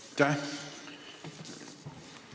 Aitäh!